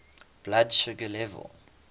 blood sugar level